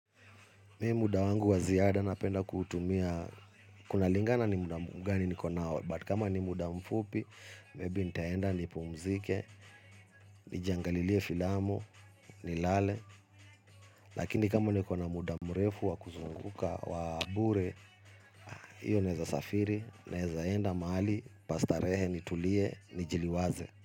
Mi muda wangu wa ziada napenda kuutumia, kunalingana ni muda mgani niko nao but kama ni muda mfupi, maybe nitaenda nipumzike, nijangalilie filamu, nilale, lakini kama niko na muda mrefu wa kuzunguka, wa bure, iyo naeza safiri, naezaenda mahali, pa starehe, nitulie, nijiliwaze.